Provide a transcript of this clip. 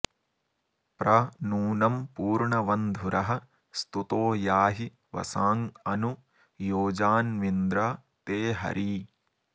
प्र नू॒नं पू॒र्णव॑न्धुरः स्तु॒तो या॑हि॒ वशाँ॒ अनु॒ योजा॒ न्वि॑न्द्र ते॒ हरी॑